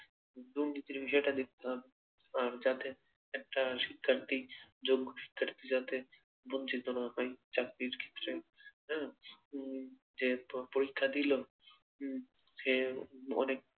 দুর্নীতির বিষয়টি দেখতে হবে আহ যাতে একটা শিক্ষার্থী যোগ্য শিক্ষার্থী যাতে বঞ্চিত না হয় চাকরির ক্ষেত্রে হ্যা উম যে প পরীক্ষা দিলো উম সে অনেক